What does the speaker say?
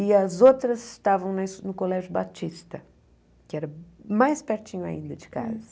E as outras estavam no Colégio Batista, que era mais pertinho ainda de casa.